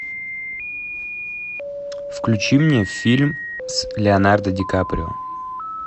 включи мне фильм с леонардо ди каприо